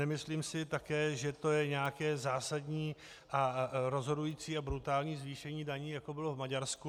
Nemyslím si také, že to je nějaké zásadní a rozhodující a brutální zvýšení daní, jako bylo v Maďarsku.